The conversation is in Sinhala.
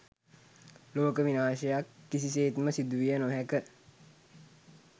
ලෝක විනාශයක් කිසිසේත්ම සිදුවිය නොහැක